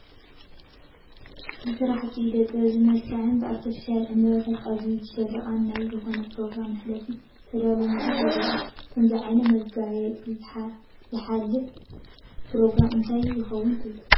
ብስራሕቲ ኢደ ጥበብ ዝመልከዐን ብኣርቴፊሻል ዕንበባታት ኣዝዩ ዝሸብረቐን ናይ ንዝኾነ ኘሮግራም መሕለፊ ዝተዳለወ መድረኽ ይረአ፡፡ ብከምዚ ዓይነት መጋየፂ ዝሓልፍ ኘሮግራም እንታይ ይኸውን ትብሉ?